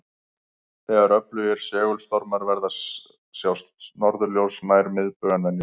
Þegar öflugir segulstormar verða sjást norðurljós nær miðbaug en venjulega.